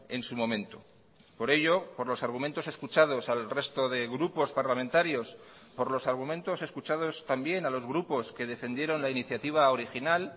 en su momento por ello por los argumentos escuchados al resto de grupos parlamentarios por los argumentos escuchados también a los grupos que defendieron la iniciativa original